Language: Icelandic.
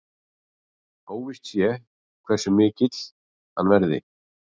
Óvíst sé hversu mikill hann verði